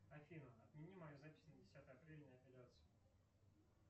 афина отмени мою запись на десятое апреля на эпиляцию